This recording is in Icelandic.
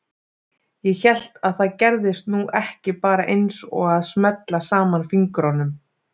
Ég hélt að það gerðist nú ekki bara eins og að smella saman fingrunum.